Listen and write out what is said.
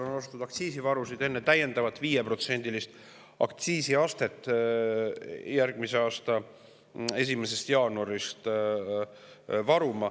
Ka kütust on hakatud varuma enne täiendavat 5%‑list aktsiisi järgmise aasta 1. jaanuarist.